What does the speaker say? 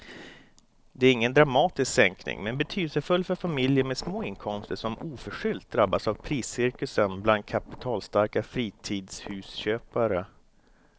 Det är ingen dramatisk sänkning men betydelsefull för familjer med små inkomster som oförskyllt drabbats av priscirkusen bland kapitalstarka fritidshusköpare.